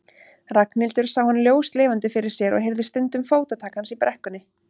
Ragnhildur sá hann ljóslifandi fyrir sér og heyrði stundum fótatak hans í brekkunni.